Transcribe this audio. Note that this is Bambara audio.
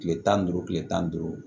Tile tan duuru tile tan ni duuru